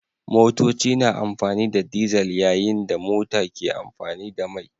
Motoci na amfani da dizal yayin da mota ke amfani da mai